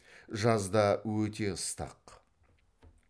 жазда өте ыстық